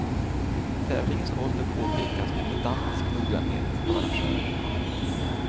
Tävlingens ålder påpekas med pedantiskt noggrannhet av arrangörerna.